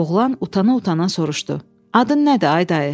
Oğlan utana-utana soruşdu: Adın nədir ay dayı?